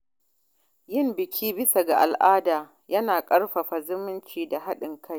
Yin biki bisa al’ada yana ƙarfafa zumunci da haɗin kai.